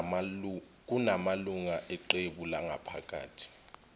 kunamalungu eqebu langaphakathi